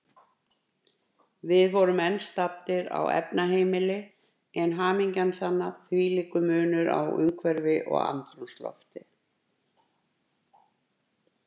Við vorum enn staddir á efnaheimili, en hamingjan sanna, hvílíkur munur á umhverfi og andrúmslofti.